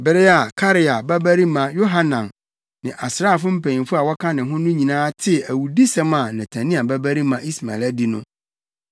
Bere a Karea babarima Yohanan ne asraafo mpanyimfo a wɔka ne ho no nyinaa tee awudisɛm a Netania babarima Ismael adi no,